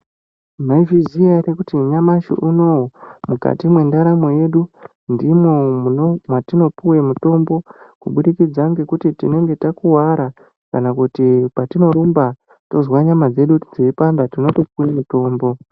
Maizviziya ere kuti nyamashi unonouyu mukati mendaramo yedu ndimo matinopuwa mutombo kubudikidza nekuti tinenge takuwara kana kuti patinorumba tonzwa nyama dzedu dzeipanda rinopuwa mutombo.